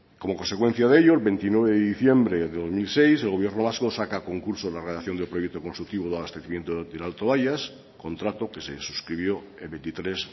como consecuencia de ello el veintinueve de diciembre del dos mil seis el gobierno vasco saca a concurso la redacción del proyecto constructivo de abastecimiento del alto bayas contrato que se suscribió el veintitrés